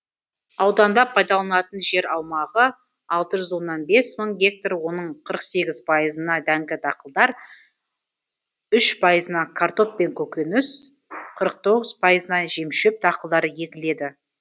ауданда пайдаланылатын жер аумағы алты жүз оннан бес мың гектар оның қыры сегіз пайызына дәңді дақылдар үш пайызына картоп пен көкөніс қырық тоғыз пайызына жемшөп дақылдары егіледі